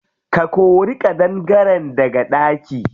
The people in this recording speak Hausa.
Ka kori ƙadangaren daga ɗaki.